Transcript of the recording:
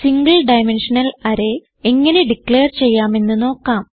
single dimensional array എങ്ങനെ declare ചെയ്യാമെന്ന് നോക്കാം